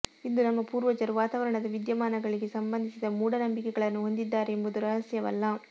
ಇಂದು ನಮ್ಮ ಪೂರ್ವಜರು ವಾತಾವರಣದ ವಿದ್ಯಮಾನಗಳಿಗೆ ಸಂಬಂಧಿಸಿದ ಮೂಢನಂಬಿಕೆಗಳನ್ನು ಹೊಂದಿದ್ದಾರೆ ಎಂಬುದು ರಹಸ್ಯವಲ್ಲ